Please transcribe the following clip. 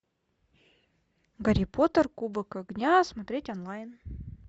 гарри поттер кубок огня смотреть онлайн